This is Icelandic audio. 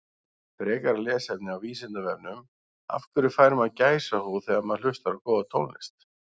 Frekara lesefni á Vísindavefnum Af hverju fær maður gæsahúð þegar maður hlustar á góða tónlist?